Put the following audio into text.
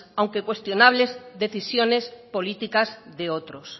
aunque cuestionables decisiones políticas de otros